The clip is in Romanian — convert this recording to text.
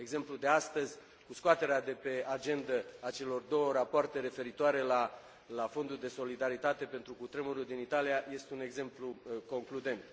Exemplul de astăzi, cu scoaterea de pe agendă a celor două rapoarte referitoare la Fondul de solidaritate pentru cutremurul din Italia, este un exemplu concludent.